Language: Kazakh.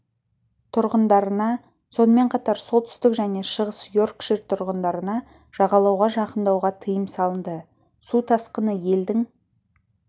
тұрғындарына сонымен қатар солтүстік және шығыс йоркшир тұрғындарына жағалауға жақындауға тыйым салынды су тасқыны елдің